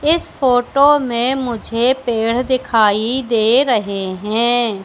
इस फोटो में मुझे पेड़ दिखाई दे रहे हैं।